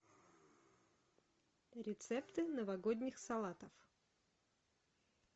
рецепты новогодних салатов